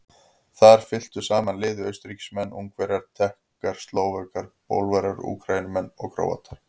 Þar fylktu saman liði Austurríkismenn, Ungverjar, Tékkar, Slóvakar, Pólverjar, Úkraínumenn, Króatar, Slóvenar, Bosníumenn og fleiri.